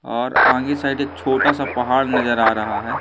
और आगे साइड एक छोटा सा पहाड़ नजर आ रहा है।